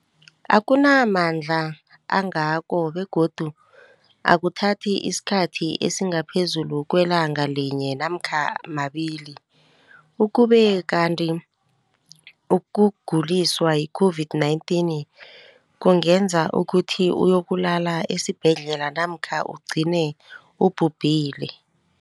akuna mandla angako begodu akuthathi isikhathi esingaphezulu kwelanga linye namkha mabili, ukube kanti ukuguliswa yi-COVID-19 kungenza ukuthi uyokulala esibhedlela namkha ugcine ubhubhile.